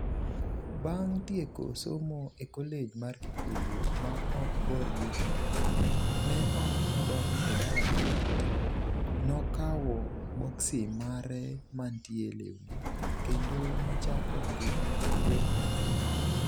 Bang' tieko somo e Kolej mar Kikuyu, ma ok bor gi Nairobi, ne ok odok e dalagi to nokawo boksi mare mantie lewni kendo nochako ngima gi wuon nyathine.